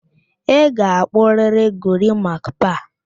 Ị ga-akpụrịrị gorimakpa!